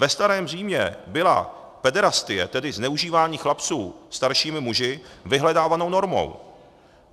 Ve starém Římě byla pederastie, tedy zneužívání chlapců staršími muži, vyhledávanou normou.